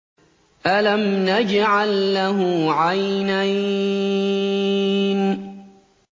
أَلَمْ نَجْعَل لَّهُ عَيْنَيْنِ